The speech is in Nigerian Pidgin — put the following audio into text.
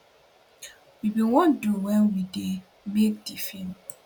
we bin wan do wen we dey make di feem